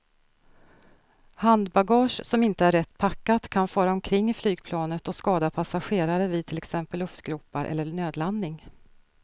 Handbagage som inte är rätt packat kan fara omkring i flygplanet och skada passagerare vid till exempel luftgropar eller nödlandning.